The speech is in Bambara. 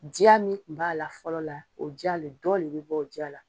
Diya min kun b'a la fɔlɔ la o diya le dɔ le bɛ bɔ o jaa la.